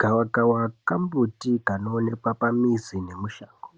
Gawakawa kambuti kanooneka pamizi nemushango.